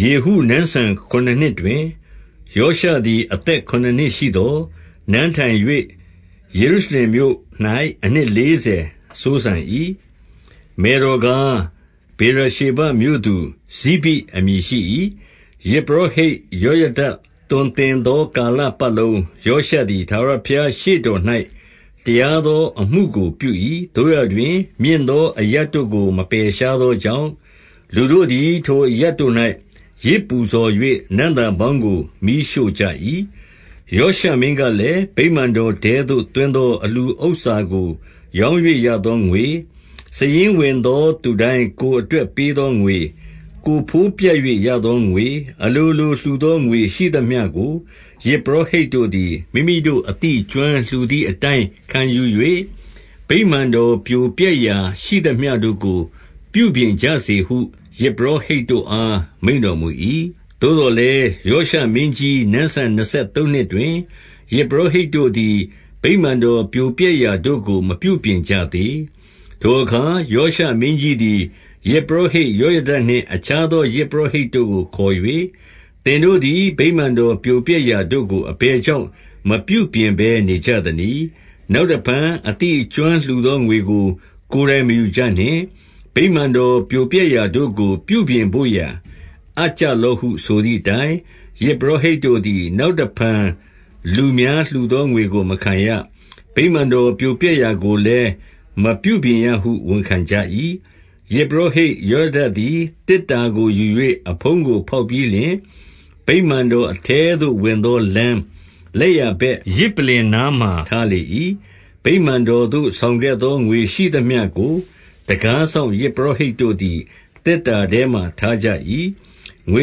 ယေဟုနန်းစံ ခုနစ်နှစ်တွင် ယောရှသည် အသက်ခုနစ်နှစ်ရှိသော်၊ နန်းထိုင်၍ ယေရုရှလင်မြို့၌ အနှစ်လေးဆယ်စိုးစံ၏။ မယ်တော်ကား၊ ဗေရရှေဘမြို့သူ ဇိဗိအမည်ရှိ၏။ 2 ယဇ်ပုရောဟိတ်ယောယဒသွန်သင်သော ကာလပတ်လုံးယောရှသည် ထာဝရဘုရားရှေ့တော်၌ တရားသောအမှုကို ပြု၏။ 3 သို့ရာတွင် မြင့်သောအရပ်တို့ကို မပယ်ရှားသော ကြောင့်၊ လူတို့သည် ထိုအရပ်တို့၌ ယဇ်ပူဇော်၍နံ့သာ ပေါင်းကို မီးရှို့ကြ၏။ 4 ယောရှမင်းကလည်း၊ ဗိမာန်တော်ထဲသို့ သွင်း သော အလှူဥစ္စာကို ရောင်း၍ရသောငွေ၊ စာရင်းဝင် သောသူတိုင်းကိုယ်အတွက်ပေးသောငွေ၊ ကိုယ်ဘိုးပြတ်၍ ရသောငွေ၊ အလိုလို လှူသောငွေရှိသမျှကို၊ 5 ယဇ်ပုရောဟိတ်တို့သည် မိမိတို့အသိအကျွမ်း လှူသည်အတိုင်း ခံယူ၍၊ ဗိမာန်တော်ပြိုပျက်ရာရှိသမျှ တို့ကို ပြုပြင်ကြစေဟု ယဇ်ပုရောဟိတ်တို့အား မိန့်တော် မူ၏။ 6 သို့သော်လည်း ယောရှမင်းကြီးနန်းစံနှစ်ဆယ် သုံးနှစ်တွင်၊ ယဇ်ပုရောဟိတ်တို့သည် ဗိမာန်တော်ပြိုပျက် ရာတို့ကို မပြုပြင်ကြသေး။ 7 ထိုအခါ ယောရှမင်းကြီးသည် ယဇ်ပုရောဟိတ် ယောယဒ နှင့်အခြားသော ယဇ်ပုရောဟိတ် တို့ကိုခေါ်၍၊ သင်တို့သည် ဗိမာန်တော်ပြိုပျက်ရာတို့ကို အဘယ်ကြောင့် မပြုပြင်ဘဲ နေကြသနည်း။ နောက်တဖန် အသိအကျွမ်းလှူသော ငွေကိုကိုယ်တိုင် မယူကြနှင့်။ ဗိမာန်တော်ပြိုပျက်ရာတို့ကို ပြုပြင်ဘို့ရာအပ်ကြလော့ဟု ဆိုသည်အတိုင်း၊ 8 ယဇ်ပုရောဟိတ်တို့သည် နောက်တဖန် လူများ လှူသောငွေကို မခံရ။ ဗိမာန်တော်ပြိုပျက်ရာကိုလည်း မပြုပြင်ရဟုဝန်ခံကြ၏။ 9 ယဇ်ပုရောဟိတ် ယောယဒသည် သေတ္တာကို ယူ၍အဖုံးကို ဖောက်ပြီးလျှင်၊ ဗိမာန်တော်အထဲသို့ ဝင်သောလမ်းလက်ျာဘက် ယဇ်ပလ္လင် နားမှာထားလေ ၏။ ဗိမာန်တော်သို့ဆောင်ခဲ့သော ငွေရှိသမျှကို တံခါး စောင့် ယဇ်ပုရောဟိတ်တို့သည် သေတ္တာထဲမှာထားကြ၏။ 10 ငွေ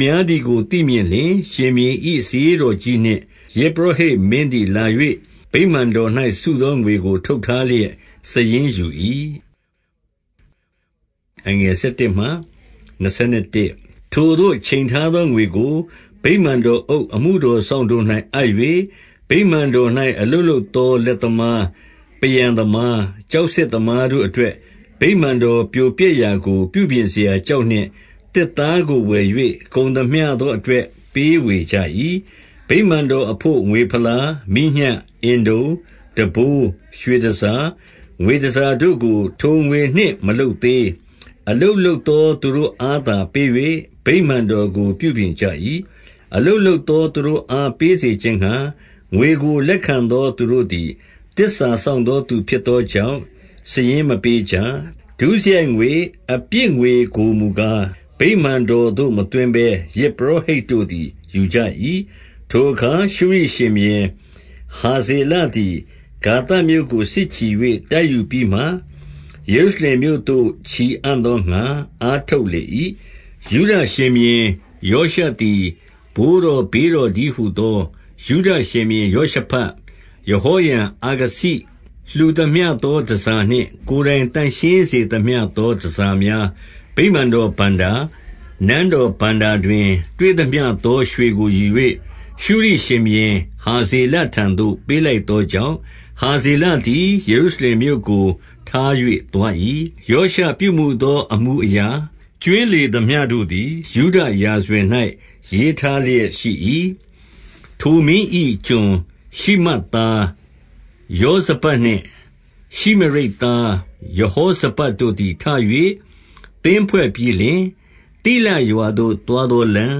များသည်ကိုသိမြင်လျှင်၊ ရှင်ဘုရင်၏ စာရေး တော်ကြီးနှင့် ယဇ်ပုရောဟိတ်မင်းသည် လာ၍ဗိမာန် တော်၌စုသောငွေကို ထုတ်ထားလျက် စာရင်းယူ၏။ 11 ထိုသို့ ချိန်ထားသော ငွေကို ဗိမာန်တော်အုပ် အမှုတော်စောင့်တို့၌အပ်၍၊ ဗိမာန်တော်၌ အလုပ်လုပ် သော လက်သမား၊ 12 ပန်းရန်သမား၊ ကျောက်ဆစ်သမားတို့အတွက် ဗိမာန်တော် ပြိုပျက်ရာကို ပြုပြင်စရာကျောက်နှင့် သစ်သားကိုဝယ်၍ ကုန်သမျှသော အတွက်ပေးဝေကြ၏။ 13 ဗိမာန်တော်အဘို့ငွေဖလား၊ မီးညှပ်၊ အင်တုံ၊ တံပိုး၊ ရွှေတန်ဆာ၊ ငွေတန်ဆာတို့ကို ထိုငွေနှင့်မလုပ် သေး။ 14 အလုပ်လုပ်သောသူတို့အားသာ ပေး၍၊ ဗိမာန်တော်ကို ပြုပြင်ကြ၏။ 15 အလုပ်လုပ်သော သူတို့အား ပေးစေခြင်းငှါ၊ ငွေကို လက်ခံသော သူတို့သည် သစ္စာစောင့်သောသူ ဖြစ်သောကြောင့် စာရင်းမပေးကြ။ 16 ဒုစရိုက်ငွေ၊ အပြစ်ငွေကိုမူကား၊ ဗိမာန်တော်သို့ မသွင်းဘဲ ယဇ်ပုရောဟိတ်တို့သည် ယူကြ၏။ 17 ထိုအခါ ရှုရိရှင်ဘုရင်ဟာဇေလသည် ဂါသမြို့ ကို စစ်ချီ၍ တိုက်ယူပြီးမှ၊ ယေရုရှလင်မြို့သို့ ချီအံ့သောငှါ အားထုတ်လေ၏။ 18 ယုဒရှင်ဘုရင်ယောရှသည် ဘိုးတော်ဘေးတော် တည်းဟူသော ယုဒရှင်ဘုရင်ယောရှဖတ်၊ ယဟောရံ၊ အာခဇိလှူသမျှသော တန်ဆာနှင့် ကိုယ်တိုင်သန့်ရှင်း သမျှသော တန်ဆာများ၊ ဗိမာန်တော်ဘဏ္ဍာ၊ နန်းတော် ဘဏ္ဍာတွင် တွေ့သမျှသော ရွှေကိုယူ၍ ရှုရိရှင်ဘုရင် ဟာဇေလ ထံသို့ပေးလိုက်သောကြောင့်၊ ဟာဇေလသည် ယေရုရှလင်မြို့ကို ထား၍ သွား၏။ 19 ယောရှပြုမူသောအမှုအရာ ကြွင်းလေသမျှ တို့သည် ယုဒရာဇဝင်၌ ရေးထားလျက်ရှိ၏။ 20 ထိုမင်း၏ကျွန်ရှိမတ်သား ယောဇဗဒ်နှင့် ရှိမရိတ်သား ယဟောဇဗပ်တို့သည် ထ၍ သင်းဖွဲ့ပြီးလျှင်၊ သိလရွာသို့ သွားသောလမ်း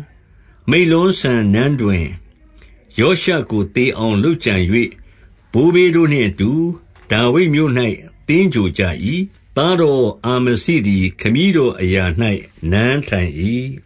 ၊ မိလ္လောစံနန်းတွင်ယောရှကို သေအောင်လုပ်ကြံ၍၊ 21 ဘိုးဘေးတို့နှင့်အတူ ဒါဝိဒ်မြို့၌ သင်္ဂြိုဟ်ကြ၏။ သားတော်အာ မဇိသည် ခမည်းတော်အရာ၌နန်းထိုင်၏။